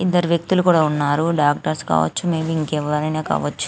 ఇద్దరు వ్యక్తులు కూడా ఉన్నారు డాక్టర్స్ కావచ్చు మే బి ఇంకెవరైన కావచ్చు.